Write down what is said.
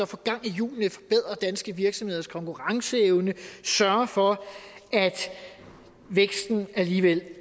få gang i hjulene forbedre danske virksomheders konkurrenceevne sørge for at væksten alligevel